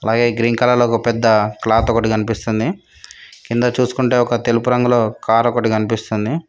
పైన green colour లో ఒక పెద్ద క్లాత్ ఒకటి కనిపిస్తుంది కింద చూస్కుంటే ఒక తెలుపు రంగులో కార్ ఒకటి కనిపిస్తుంది.